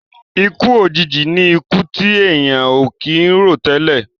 Ikú òjijì ní ikú ti èèyàn ò kì ń rò tẹ́lẹ̀.